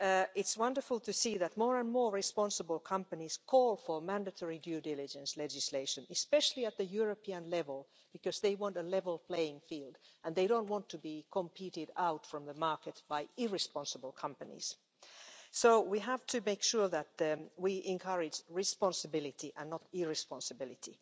It's wonderful to see that more and more responsible companies call for mandatory due diligence legislation, especially at the European level, because they want a level playing field and they don't want to be competed out from the market by irresponsible companies. So we have to make sure that we encourage responsibility and not irresponsibility.